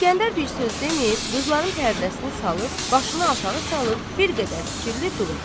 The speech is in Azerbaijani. İsgəndər bir söz deməyib qızların pərdəsini salıb başını aşağı salıb bir qədər fikirli durur.